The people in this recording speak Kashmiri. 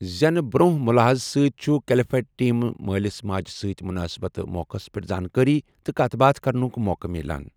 زٮ۪نہٕ برٛونٛہہ مُلحزٕ سۭتۍ چُھ کٕلیٚفٹ ٹیٖم مٲلِس ماجہِ سۭتۍ مُنٲسِبتہٕ موقعس پیٚٹھ زانٛکٲری تہٕ کَتھ باتھ کرنُک موقع میلان ۔